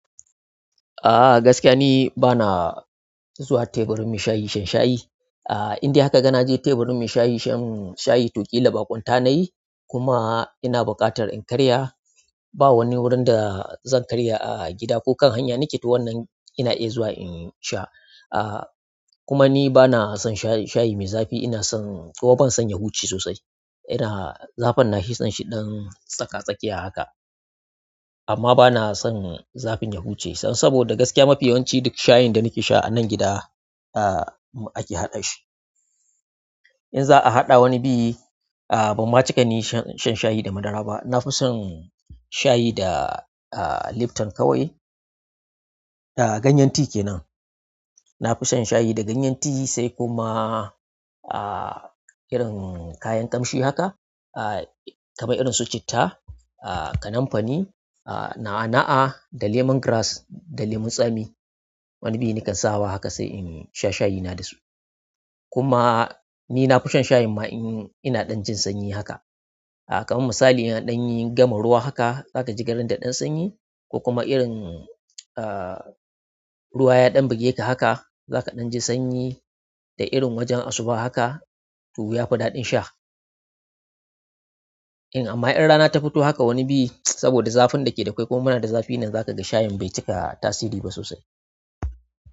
A gaskiya ni bana zuwa teburin maishayi shan shayi indai harka ga na je teburin mai shayi shan shayi to killa bakon ta nayi kuma ina buƙatar in ƙarya ba wani wurin da zan karya a gida ko kan hanya nake to wannan ina iya zuwa in sha. Kuma ni bana son shayi mai zafi, ina son, kuma ban son yahuce sosai. Ina, zafin nafi son shi ɗan tsaka-tsakiya haka. Amma bana son zafin yahuce son saboda gaskiya mafiyanci duk shayin da nake sha a nan gida ake haɗa shi. In za a haɗa wani biyi ban ma cika ni shan shayi da madara ba. Na fi son shayi da Lipton kawai. Ganyen ti ke nan. Na fi shan shayi da ganyen ti sai kuma ah irin kayan ƙamshi haka ah kamar irin su citta, ah kanamfani, na'a-na'a da lemon grass da lemon tsami. Wani biyi nakan sawa haka sai in sha shayi na da su. Kuma ni nafi shan sayin ma in ina jin sanyi ma haka kaman misali in an ɗan yi gama ruwa haka, za ka ji garin da ɗan sanyi ko kuma irin ruwa ya ɗan bugeka haka, za ka ɗan ji sanyi da irin wajen asuba haka to ya fi daɗin sha. Amma in rana tafito haka wani biyi sabo da zafin dake akwai kuma muna zafi zakaga shayin bai cika tasiriba sosai.